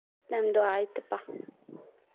ನಮ್ದು ಆಯ್ತಪ್ಪಾ.